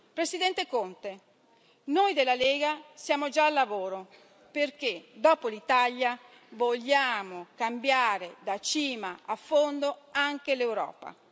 Presidente Conte, noi della Lega siamo già al lavoro, perché dopo l'Italia vogliamo cambiare da cima a fondo anche l'Europa.